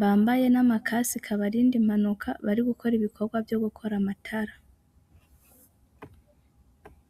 bambaye n'amakasike abarinda impanuka bari gukora ibikorwa vyo gukora amatara.